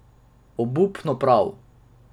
Obupno prav.